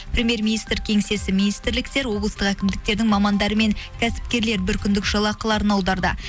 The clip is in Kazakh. примьер министр кеңсесі министрліктер облыстық әкімдіктердің мамандары мен кәсіпкерлер бір күндік жалақыларын аударды